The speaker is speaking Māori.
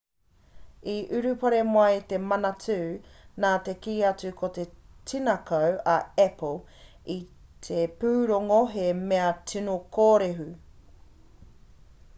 i urupare mai te manatū nā te kī atu ko te tinaku a apple i te pūrongo he mea tino kōrehu